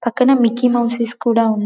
పక్కనే ముక్కై మౌజ్స్ కూడా--